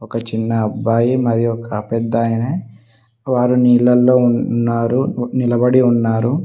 ఒక చిన్న అబ్బాయి మరి ఒక పెద్దాయన వారు నీళ్ళల్లో ఉన్నారు నిలబడి ఉన్నారు.